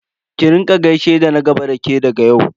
Ki rika gaishe da na gaba da ke daga yau.